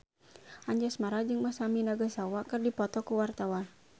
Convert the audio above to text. Anjasmara jeung Masami Nagasawa keur dipoto ku wartawan